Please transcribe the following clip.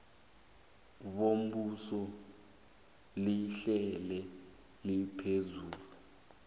bombuso lihlale liphezulu